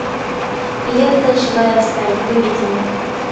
лента живая сталь выведи мне